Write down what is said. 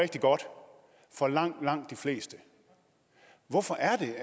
rigtig godt for langt langt de fleste hvorfor er det